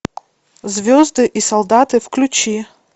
звезды и солдаты включи